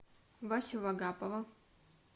васю вагапова